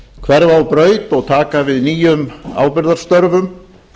hverfa á braut og taka við nýjum ábyrgðarstörfum